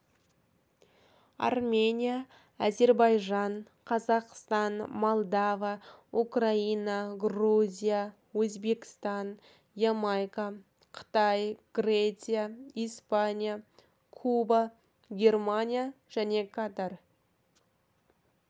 армения әзербайжан қазақстан молдова украина грузия өзбекстан ямайка қытай греция испания куба германия және катар